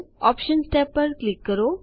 options tab પર click કરો